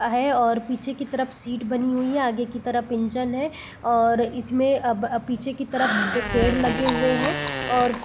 आ है और पीछे की तरफ सीट बनी हुई है आगे की तरफ इंजन है और इसमें अ अ ब पीछे की तरफ पेड़ लगे हुए है और --